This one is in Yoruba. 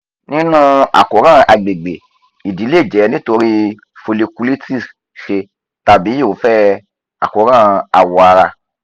nínú àkóràn agbègbè ìdí lè jẹ́ nítorí folliculitis sè tàbí irúfẹ́ àkóràn awọ ara